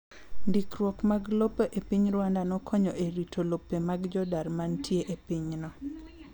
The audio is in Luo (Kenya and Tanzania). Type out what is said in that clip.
Ndikruok mag lope e piny Rwanda nokonyo e rito lope mag jodar ma nitie e pinyno.